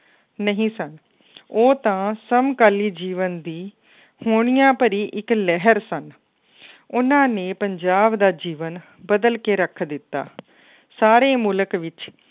ਨਹੀਂ ਸਨ ਉਹ ਤਾਂ ਸਮਕਾਲੀ ਜੀਵਨ ਦੀ ਹੋਣੀਆਂ ਭਰੀ ਇੱਕ ਲਹਿਰ ਸਨ ਉਹਨਾਂ ਨੇ ਪੰਜਾਬ ਦਾ ਜੀਵਨ ਬਦਲ ਕੇ ਰੱਖ ਦਿੱਤਾ ਸਾਰੇ ਮੁਲਕ ਵਿੱਚ